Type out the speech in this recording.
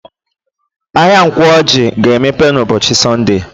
Ahịa Nkwọ Ọjị ga-emepe n'ụbọchị Sọnde.